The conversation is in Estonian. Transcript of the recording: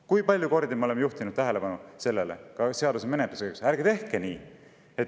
Kui palju kordi me oleme seaduse menetluse käigus juhtinud tähelepanu sellele, et ärge tehke nii.